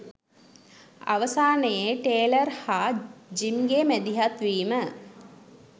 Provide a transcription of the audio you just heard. අවසානයේ ටේලර් හා ජිම්ගේ මැදිහත් වීම